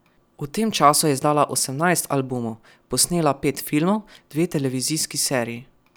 V tem času je izdala osemnajst albumov, posnela pet filmov, dve televizijski seriji.